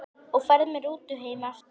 Og ferð með rútu heim aftur?